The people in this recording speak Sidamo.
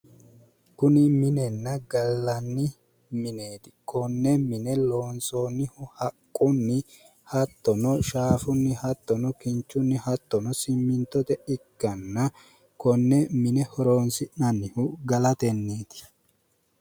Kuni minennaa gallanni mineeti konne mine loonsoonnihu haqqunni shaafunni hattono kinchunni hattono simmintote ikkanna konne mine horonsi'nannihu galateeti